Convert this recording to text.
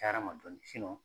cayara n ma dɔɔnin